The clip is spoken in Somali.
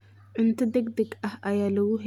Cunto degdeg ah ayaa lagu heli karaa qiimo jaban.